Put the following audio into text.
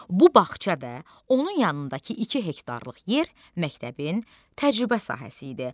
Bu bağça və onun yanındakı iki hektarlıq yer məktəbin təcrübə sahəsi idi.